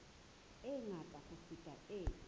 e ngata ho feta e